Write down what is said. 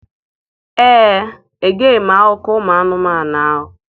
Ee, egeghị m akụkọ ụmụ anụmanụ ahụ.